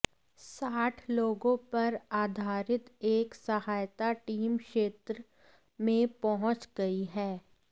साठ लोगों पर आधारित एक सहायता टीम क्षेत्र में पहुंच गयी है